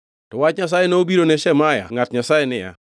To wach Nyasaye nobiro ne Shemaya ngʼat Nyasaye niya: